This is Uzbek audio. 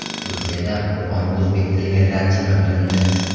Turkiyada Qur’on o‘zbek tiliga tarjima qilindi.